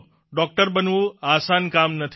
doctor બનવું આસાન કામ નથી